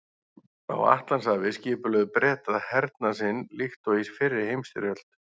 Á Atlantshafi skipulögðu Bretar hernað sinn líkt og í fyrri heimsstyrjöld.